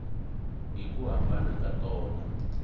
hi ku hambana ka tona